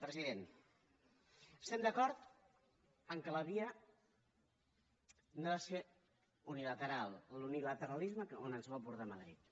president estem d’acord que la via no ha de ser unilateral l’unilateralisme on ens vol portar madrid